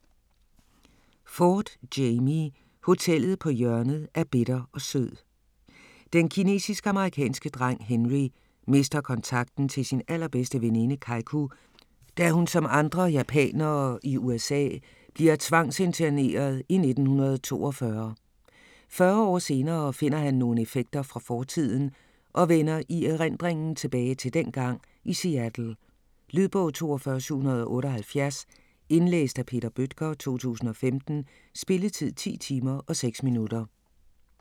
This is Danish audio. Ford, Jamie: Hotellet på hjørnet af bitter og sød Den kinesisk-amerikanske dreng Henry mister kontakten til sin allerbedste veninde Keiku, da hun som andre japanere i USA bliver tvangsinterneret i 1942. Fyrre år senere finder han nogle effekter fra fortiden og vender i erindringen tilbage til dengang i Seattle. Lydbog 42778 Indlæst af Peter Bøttger, 2015. Spilletid: 10 timer, 6 minutter.